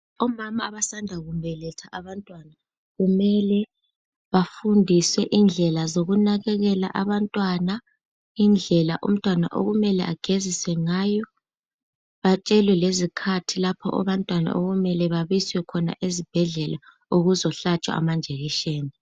Omama abasanda kubeletha abantwana kumele bafundiswe indlela zokunakekela abantwana, indlela umntwana okumele abageziswe ngayo ,batshelwe lezikhathi abantwana okumele babiswe khona ezibhedlela ukuzohlatshwa amajekiseni.